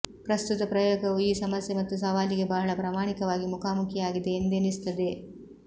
ಪ್ರಸ್ತುತ ಪ್ರಯೋಗವು ಈ ಸಮಸ್ಯೆ ಮತ್ತು ಸವಾಲಿಗೆ ಬಹಳ ಪ್ರಾಮಾಣಿಕವಾಗಿ ಮುಖಾಮುಖಿಯಾಗಿದೆ ಎಂದೆನಿಸುತ್ತದೆ